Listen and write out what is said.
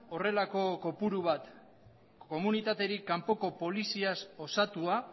horrelako kopuru bat komunitatetik kanpoko poliziaz osatua